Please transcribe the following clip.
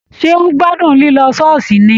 Ṣé o gbádùn lilọ ṣooṣi ni.